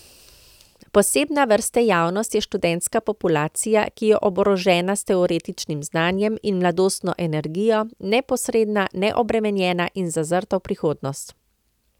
Posebne vrste javnost je študentska populacija, ki je oborožena s teoretičnim znanjem in mladostno energijo, neposredna, neobremenjena in zazrta v prihodnost.